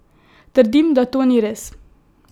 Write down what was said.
Trdim, da to ni res!